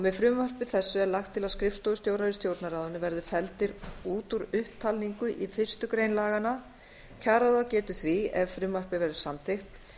með frumvarpi þessu er lagt til að skrifstofustjórar í stjórnarráðinu verði felldir út úr upptalningu í fyrstu grein laganna kjararáð getur því ef frumvarpið verður samþykkt